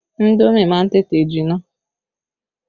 Indomi má ń tètè jinná